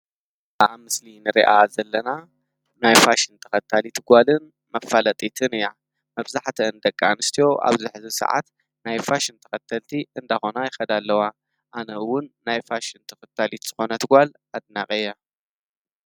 በኣብ ምስሊን ርኣ ዘለና ናይፋሽን ተኸታሊት ጓልን መፋለጢትን እያ መብዛሕተ እንደቂ ኣንስትዮ ኣብ ዘኅዚ ሰዓት ናይፋሽ ንተኸተልቲ እንደኾና ይከዳ ኣለዋ ኣነዉውን ናይፋሽን ተኽታሊት ዝኾነትጓል ኣትናቐየ።